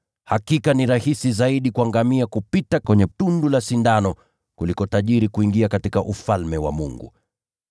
Hakika ni rahisi zaidi kwa ngamia kupita kwenye tundu la sindano kuliko mtu tajiri kuingia katika Ufalme wa Mungu.”